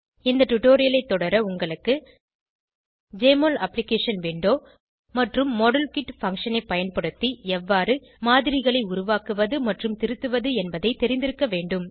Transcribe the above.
இந்த டுடோரியலைத் தொடர உங்களுக்கு ஜெஎம்ஒஎல் அப்ளிகேஷன் விண்டோ மற்றும் மாடல்கிட் பங்ஷன் ஐ பயன்படுத்தி எவ்வாறு மாதிரிகளை உருவாக்குவது மற்றும் திருத்துவது என்பதை தெரிந்திருக்க வேண்டும்